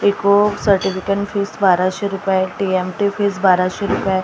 एकूण certification fees बाराशे रुपये आहे टी_एम_टी फीज बाराशे रुपये आहे अशा--